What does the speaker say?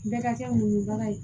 Bɛɛ ka kɛ muɲu bara ye